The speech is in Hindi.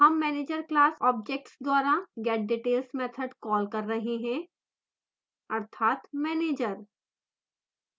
हम manager class object द्वारा getdetails मैथड कॉल कर रहे हैं अर्थात manager